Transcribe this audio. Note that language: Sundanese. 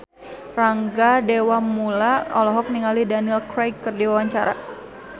Rangga Dewamoela olohok ningali Daniel Craig keur diwawancara